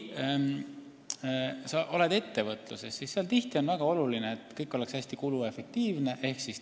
Ettevõtluses on tihti väga oluline, et kõik oleks hästi kuluefektiivne ehk tõhus.